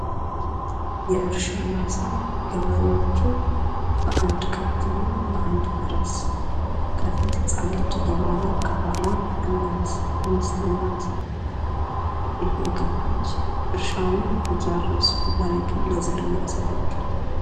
የእርሻ ማሳ ገበሬዎቹ በአንድ ከብትና በአንድ ፈረስ አንድ ህፃን ልጅ እየመራ ከኋላ እንስት እናት እየገፋች እርሻውን እያረሱ መሬቱን ለዘር እያዘጋጁት።